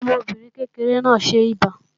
Ọmọbìnrin kékeré náà ń ṣẹbà